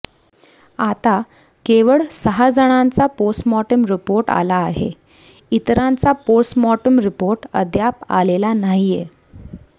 आता केवळ सहा जणांचा पोस्टमार्टम रिपोर्ट आला आहे इतरांचा पोस्टमार्टम रिपोर्ट अद्याप आलेला नाहीये